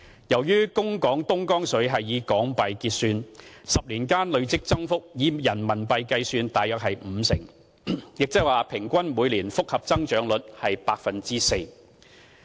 由於供港東江水是以港元結算 ，10 年間累積增幅以人民幣計算約為五成，亦即是說平均每年複合增長率是 4%。